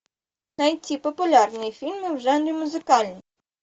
найти популярные фильмы в жанре музыкальный